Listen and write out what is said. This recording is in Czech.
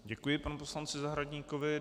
Děkuji panu poslanci Zahradníkovi.